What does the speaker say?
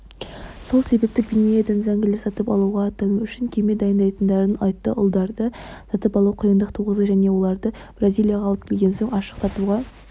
сол себепті гвинеядан зәңгілер сатып алуға аттану үшін кеме дайындайтындарын айтты ұлдарды сатып алу қиындық туғызады және оларды бразилияға алып келген соң ашық сатуға